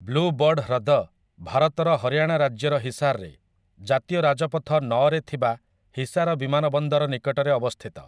Blue bird ହ୍ରଦ ଭାରତର ହରିୟାଣା ରାଜ୍ୟର ହିସାରରେ, ଜାତୀୟ ରାଜପଥ ନଅ ରେ ଥିବା ହିସାର ବିମାନବନ୍ଦର ନିକଟରେ ଅବସ୍ଥିତ ।